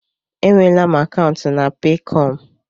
E nweela m akaụntụ na Peekọm.